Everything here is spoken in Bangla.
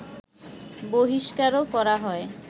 বহিষ্কারও করা হয়